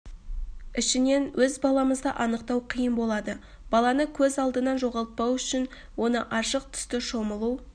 ішінен өз баламызды анықтау қиын болады баланы көз алдынан жоғалпау үшін оны ашық түсті шомылу